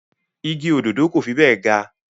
Igi òdòdó kò fi bẹ́ẹ̀ ga